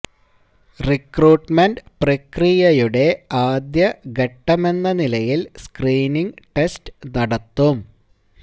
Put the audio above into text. recruitment പ്രക്രിയയുടെ ആദ്യ ഘട്ടമെന്ന നിലയിൽ സ്ക്രീനിങ് ടെസ്റ്റ് നടത്തും